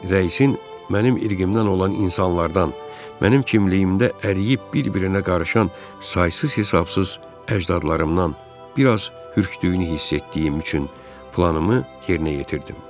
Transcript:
Rəisin mənim irqimdən olan insanlardan, mənim kimliyimdə əriyib bir-birinə qarışan saysız-hesabsız əcdadlarımdan bir az hürkdüyünü hiss etdiyim üçün planımı yerinə yetirdim.